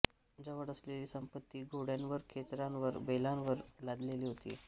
जवळ असलेली संपत्ती घोडय़ांवर खेचरांवर बैलांवर लादलेली होती